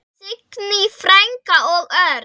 Signý frænka og Örn.